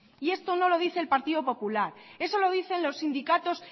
y esto no lo dice el partido popular eso lo dicen los sindicatos